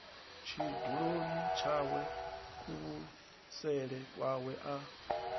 tshiduloni tshawe kuvhusele kwawe a